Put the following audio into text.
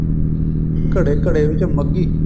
ਘੜੇ ਘੜੇ ਵਿੱਚ ਮੱਗੀ